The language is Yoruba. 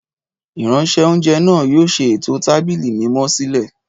Ìránṣẹ́-oúnjẹ náà yóò ṣe ètò tábìlì mímọ́ sílẹ̀